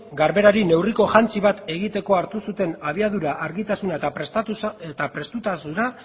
garberari neurriko jantzi bat egiteko hartu zuten abiadura argitasuna eta prestutasuna